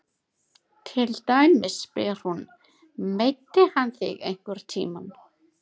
Til dæmis spyr hún: Meiddi hann þig einhvern tíma?